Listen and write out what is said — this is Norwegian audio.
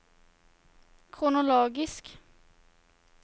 kronologisk